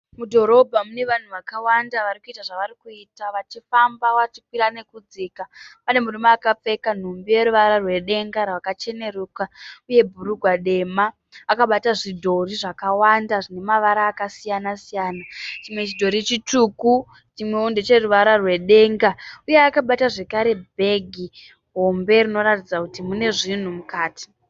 Mudhorobha mune vanhu vakawanda vari kuita zvavari kuita vachifamba vachikwira nekudzika. Pane murume akapfeka nhumbi yeruvara rwedenga rwakacheneruka uye bhurugwa dema. Akabata zvidhori zvakawanda zvine mavara akasiyana siyana. Chimwe chidhori chitsvuku chimwewo ndecheruvara rwedenga uye akabata zvakare bhegi hombe rinoratidza kuti mune zvinhu mukati.